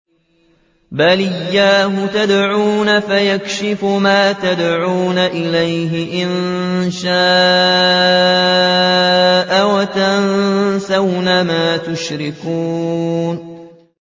بَلْ إِيَّاهُ تَدْعُونَ فَيَكْشِفُ مَا تَدْعُونَ إِلَيْهِ إِن شَاءَ وَتَنسَوْنَ مَا تُشْرِكُونَ